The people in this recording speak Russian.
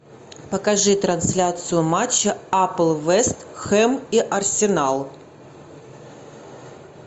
покажи трансляцию матча апл вест хэм и арсенал